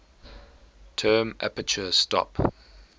term aperture stop